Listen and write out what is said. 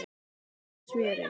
Með smjöri.